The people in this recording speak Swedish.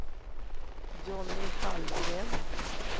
Johnny Hallgren